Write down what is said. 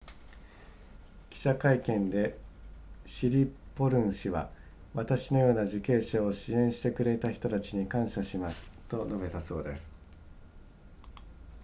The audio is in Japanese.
記者会見でシリポルン氏は私のような受刑者を支援してくれた人たちに感謝しますと述べたそうです